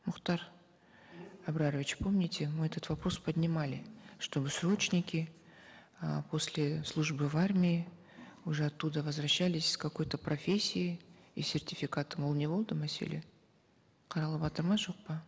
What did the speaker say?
мухтар арбарович помните мы этот вопрос поднимали чтобы срочники э после службы в армии уже оттуда возвращались с какой то профессией и сертификатом ол не болды мәселе қаралыватыр ма жоқ па